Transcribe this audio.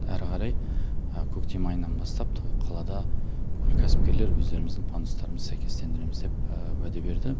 әрі қарай көктем айынан бастап толық қалады бүкіл кәсіпкерлер өздеріміздің пандустарымыз сәйкестендіреміз деп уәде берді